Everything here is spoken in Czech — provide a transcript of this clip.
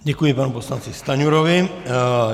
Děkuji panu poslanci Stanjurovi.